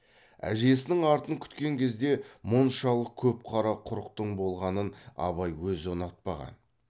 әжесінің артын күткен кезде мұншалық көп қара құрықтың болғанын абай өзі ұнатпаған